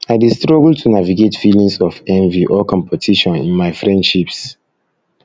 i dey struggle to navigate feelings of envy or competition in my friendships